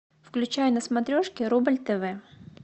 включай на смотрешке рубль тв